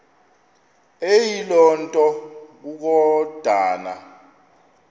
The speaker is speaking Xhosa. eyiloo nto kukodana